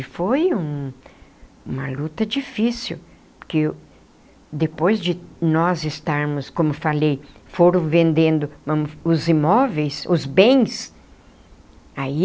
E foi um uma luta difícil, porque depois de nós estarmos, como falei, foram vendendo os imóveis, os bens, aí...